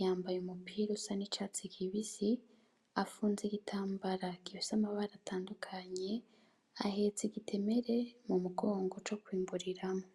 yambaye umupira usa n'icatsi kibisi, afunze igitambara gifise amabara atandukanye, ahetse igitemere k'umugongo co kwimburiramwo.